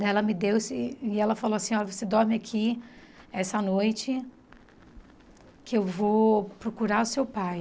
Daí ela me deu esse... E ela falou assim, olha, você dorme aqui essa noite que eu vou procurar o seu pai.